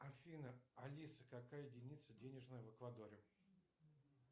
афина алиса какая единица денежная в эквадоре